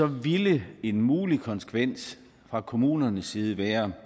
ville en mulig konsekvens fra kommunernes side være